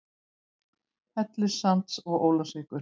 Hellissands og Ólafsvíkur.